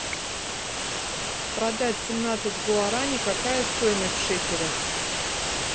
продать семнадцать гуарани какая стоимость в шекелях